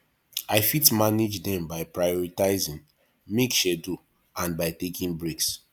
i fit manage dem by prioritizing make schedule and by taking breaks